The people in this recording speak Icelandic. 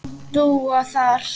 Dúa þar.